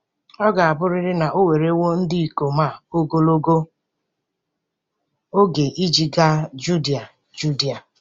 Ọ ga-abụrịrị na o werewo ndị ikom a ogologo oge iji gaa Judia Judia.